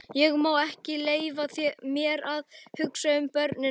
Ég má ekki leyfa mér að hugsa um börnin okkar.